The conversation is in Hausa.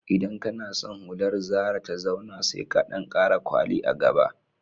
Idan kana san hular zara ta zauna, sai ka ɗan ƙara kwali a gaba